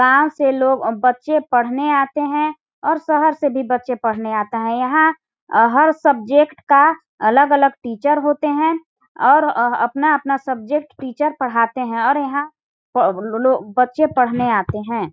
गाँव से लोग अम बच्चे पढ़ने आते है और शहर से भी बच्चे पढ़ने आते है यहाँ अ हर सब्जेक्ट का अलग -अलग टीचर होते है और अपना-अपना सब्जेट टीचर पढ़ाते है और यहाँ बच्चे पढ़ने आते हैं।